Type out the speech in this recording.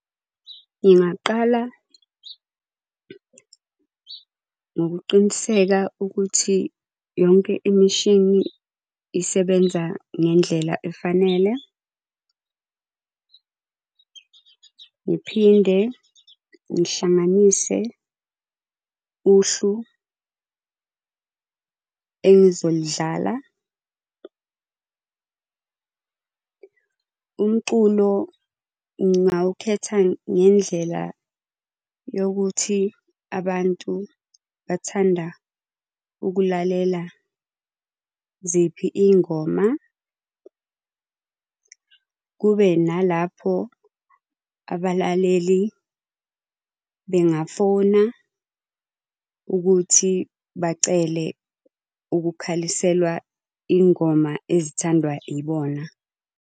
Ngingaqala ngokuqiniseka ukuthi yonke imishini isebenza ngendlela efanele. Ngiphinde ngihlanganise uhlu engizoludlala . Umculo ngingawukhetha ngendlela yokuthi abantu bathanda ukulalela ziphi iy'ngoma, kube nalapho abalaleli bengafona ukuthi bacele ukukhaliselwa iy'ngoma ezithandwa ibona.